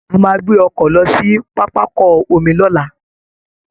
A máa gbé ọkọ̀ lọ sí pápákọ omi lọ́la